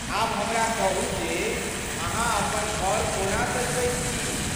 आब हमरा कहू जे अहाँ अपन घर को ना सजबैत छी?